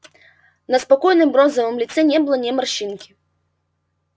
на спокойном бронзовом лице не было ни морщинки